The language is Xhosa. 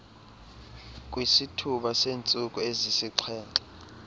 kwisithuba seentsuku ezisixhenxe